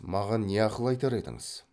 маған не ақыл айтар едіңіз